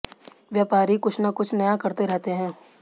व्यापारी कुछ ना कुछ नया करते रहते हैं